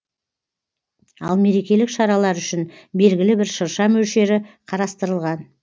ал мерекелік шаралар үшін белгілі бір шырша мөлшері қарастырылған